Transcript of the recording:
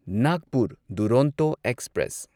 Nagpur Duronto express